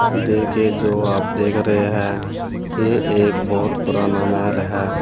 देखिए जो आप देख रहे हैं ये एक बहोत पुराना महल है।